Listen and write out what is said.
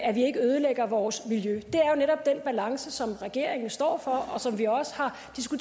at vi ikke ødelægger vores miljø det er jo netop den balance som regeringen står for og som vi også har